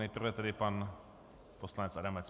Nejprve tedy pan poslanec Adamec.